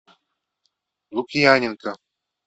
лукьяненко